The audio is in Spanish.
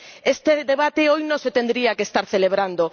Este debate hoy no se tendría que estar celebrando.